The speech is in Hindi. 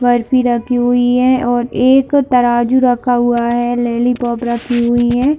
बर्फ भी रखी हुई है और एक तराजू रखा हुआ है लेली पॉप रखी हुई है।